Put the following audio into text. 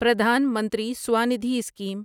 پردھان منتری سوندھی اسکیم